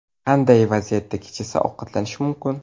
Qanday vaziyatda kechasi ovqatlanish mumkin?